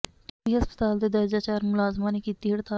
TB ਹਸਪਤਾਲ ਦੇ ਦਰਜਾ ਚਾਰ ਮੁਲਾਜ਼ਮਾਂ ਨੇ ਕੀਤੀ ਹੜਤਾਲ